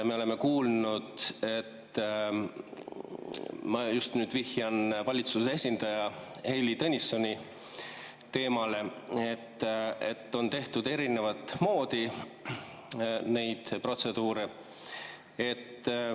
Me oleme kuulnud – ma nüüd vihjan valitsuse esindaja Heili Tõnissoni teemale –, et on tehtud erinevat moodi neid protseduure.